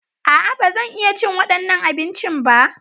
A'a, ba zan iya cin waɗannan abincin ba.